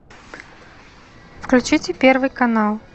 включите первый канал